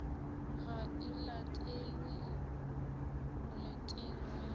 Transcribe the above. ga e latelelwe moleteng wa